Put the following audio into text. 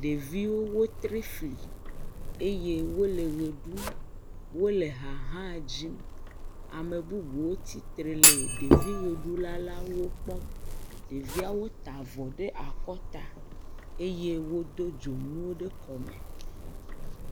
Ɖeviwo wotri fli eye wole ʋe ɖum eye wole ha hã dzim, ame bubuwo tsi tre le ɖevi ʋeɖulawo kpɔm, ɖeviawo ta avɔ ɖe akɔta eye wodo dzonuwo ɖe kɔme.